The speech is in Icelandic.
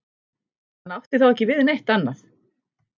Hann átti þá ekki við neitt annað.